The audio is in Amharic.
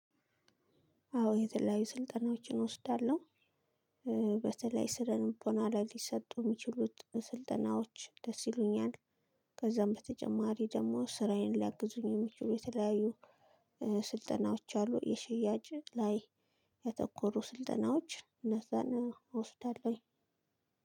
አዎ የተለያዩ ስልጠናዎችን እወስዳለሁ። በተለይ ስለልቦና ላይ ሊሰጡ የሚችሉት ስልጠናዎች ደስ ይሉኛል። ከዛም በተጨማሪ ደግሞ ስራዬን ሊያግዙልኝ የሚችሉ የተለያዩ ስልጠናዎች አሉ። የሽያጭ ላይ ያተኮሩ ስልጠናዎች እነዛን እወስዳለሁኝ።